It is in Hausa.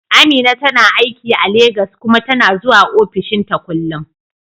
Amina tana aiki a Legas kuma tana zuwa ofishinta kullum.